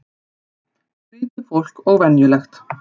Skrýtið fólk og venjulegt.